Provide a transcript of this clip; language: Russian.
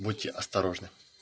будьте осторожны